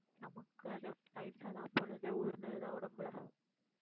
நமக்கு அது தயிர் சாதம் அப்போல இருந்தே ஊறுனது தான் உடம்புல.